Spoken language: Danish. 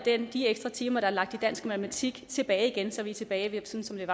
de ekstra timer der er lagt i dansk og matematik tilbage igen så vi er tilbage ved